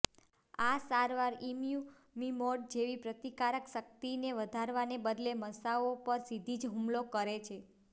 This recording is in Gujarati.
આ સારવાર ઇમ્યુમિમોડ જેવી પ્રતિકારક શક્તિને વધારવાને બદલે મસાઓ પર સીધા જ હુમલો કરે છે